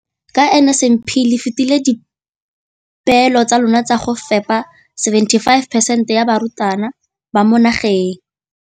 Ka NSNP le fetile dipeelo tsa lona tsa go fepa masome a supa le botlhano a diperesente ya barutwana ba mo nageng.